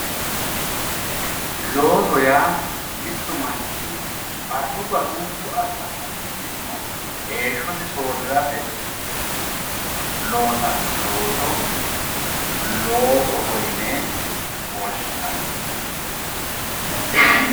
Looso yaa mittu manichi barru baarrunikuy assanno millimo heeshosi soorirate loosanno looso loosoho yine woshinanni